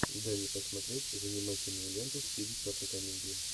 дай мне посмотреть занимательную ленту в стиле черной комедии